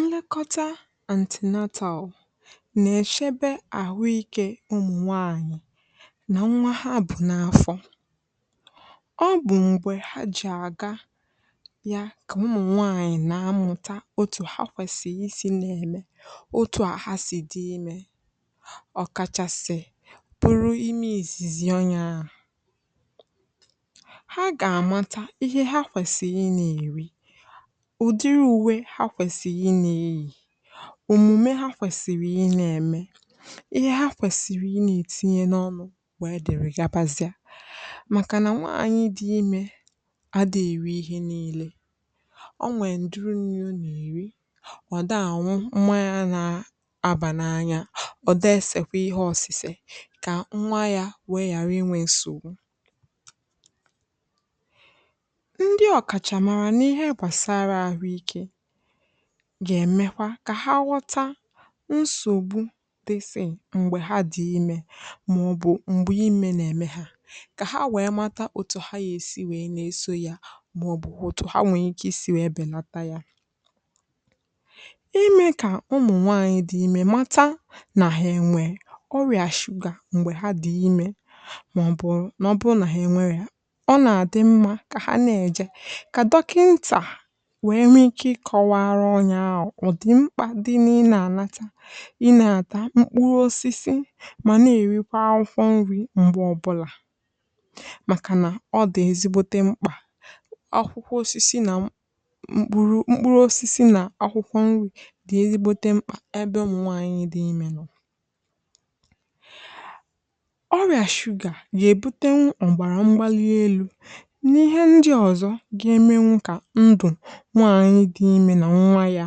Nlekọta antinatọl na-echebe ahụ́ ike ụmụ̀ nwaànyị̀ na nwa ha bụ̀ n’afọ, ọ bụ̀ ngwè ha ji aga ya ka mụmụ̀ nwaànyị̀ na-amụta otu ha kwesiri isi n’eme, otu a ha si dị ime, ọkàchàsị̀ bụ imi izizi ọnwụ̀ ha, ụdịrịa uwe ha kwesiri inā eyi. Ọmụmụ ha kwesiri inā eme ihe ha kwesiri inā etinye n’ọnụ. Nwè e dịrị gabazịa, maka na nwa ànyị dị ime adị eri ihe niile. Ọ nwè nduru n’enye unu eri, ọ̀ dànwu mmanya na-abà n’anya, ọ̀ desekwa ihe ọ̀sị̀sè ka nwa ya wee yàrà inwe nsògbu. N’ihe gbasara ahụike gà-emekwa ka ha ghọta nsògbu, ihe m̀gbè ha dị ime maọbụ m̀gbè ime na-eme ha, ka ha wee mata otu ha ga-esi wee na-eso ya, maọbụ otu ha wee na-esi wee belata ya. Ime ka ụmụ̀nwanyị dị ime mata na ha nwere ọrịa shuga m̀gbè ha dị̀ ime, maọbụ na ọ bụrụ na ha nwere ya, ọ na-adịrị mma ka ha na-eje nwae nwee ike ịkọwa onye na-ahụ maka ahụike. Ụdị mkpà dị inye: inata ị nà-ata mkpụrụ osisi, ma na-erikwa akwụkwọ nri m̀gbè ọbụla, maka na ọ dị ezi omume. Mkpụrụ osisi na akwụkwọ nri dị ezi ọgwụ na mkpà ebe ụmụ̀nwànyị dị ime nọ. Ọrịa sugar gà-ebute nwù mọ̀gbàrà mgbali elu̇. Nwaànyị dị ime na nwa ya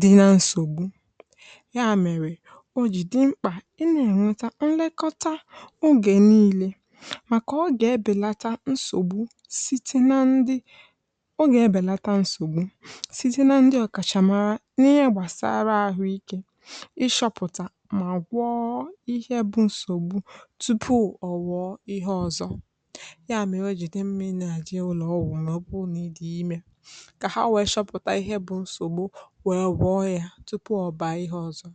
dị na nsògbu ya, mere o ji dị mkpa inweta nlekọta oge niile, maka ọ ga-ebèlata nsògbu site n’aka ndị ọkàchàmàra n’ihe gbasàrà ahụike. Ịshọpụ̀tà na igwọ ihe bụ nsògbu tupu ọ wụọ ihe ọzọ, ya mere o ji dị mkpa menàjie ụlọọgwụ ka ha wee chọpụta ihe bụ nsògbu, wee gbapụ ọhịa tupu ọ bàa ihe ọzọ.